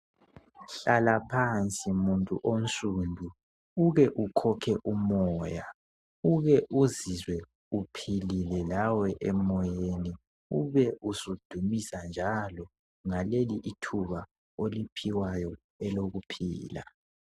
Hlala phansi muntu onsundu uke ukhokhe umoya uke uzizwe uphilile lawe emoyeni ube usudumisa njalo ngale ithuba oliphiwayo elokuphila